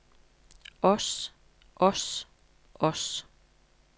os os os